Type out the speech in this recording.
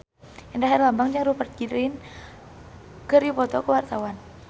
Indra Herlambang jeung Rupert Grin keur dipoto ku wartawan